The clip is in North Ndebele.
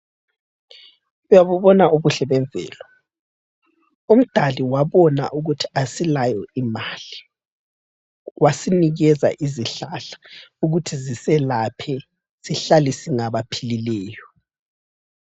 Uyabubona ubuhle bemvelo, umdali wabona ukuthi asilayo imali, wasinikeza izihlahla ukuthi ziselaphe sihlale singabaphilileyo.